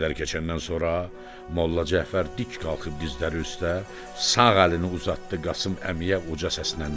Bir qədər keçəndən sonra Molla Cəfər dik qalxıb dizləri üstə, sağ əlini uzatdı Qasım Əmiyə uca səsinən dedi: